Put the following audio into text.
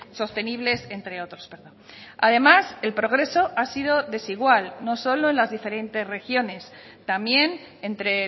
sostenibles entre otros además el progreso ha sido desigual no solo en las diferentes regiones también entre